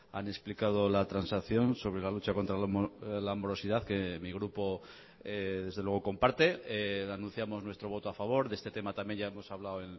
han explicado la transacción sobre la lucha contra la morosidad que mi grupo desde luego comparte anunciamos nuestro voto a favor de este tema también ya hemos hablado